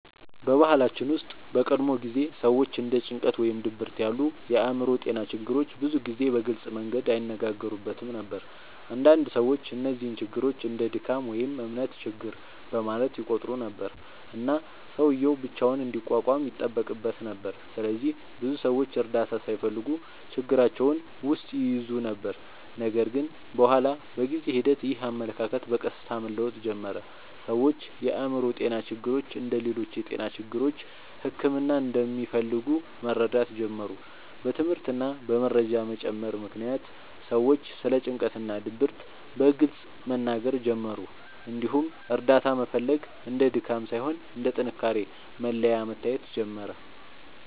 በባህላችን ውስጥ በቀድሞ ጊዜ ሰዎች እንደ ጭንቀት ወይም ድብርት ያሉ የአእምሮ ጤና ችግሮችን ብዙ ጊዜ በግልጽ መንገድ አይነጋገሩበትም ነበር። አንዳንድ ሰዎች እነዚህን ችግሮች እንደ “ድካም” ወይም “እምነት ችግር” በማለት ይቆጥሩ ነበር፣ እና ሰውዬው ብቻውን እንዲቋቋም ይጠበቅበት ነበር። ስለዚህ ብዙ ሰዎች እርዳታ ሳይፈልጉ ችግራቸውን ውስጥ ይይዙ ነበር። ነገር ግን በኋላ በጊዜ ሂደት ይህ አመለካከት በቀስታ መለወጥ ጀመረ። ሰዎች የአእምሮ ጤና ችግሮች እንደ ሌሎች የጤና ችግሮች ሕክምና እንደሚፈልጉ መረዳት ጀመሩ። በትምህርት እና በመረጃ መጨመር ምክንያት ሰዎች ስለ ጭንቀት እና ድብርት በግልጽ መናገር ጀመሩ፣ እንዲሁም እርዳታ መፈለግ እንደ ድካም ሳይሆን እንደ ጥንካሬ መለያ መታየት ጀመረ።